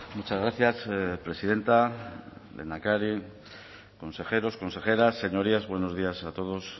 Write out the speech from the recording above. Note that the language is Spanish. muchas gracias presidenta lehendakari consejeros consejeras señorías buenos días a todos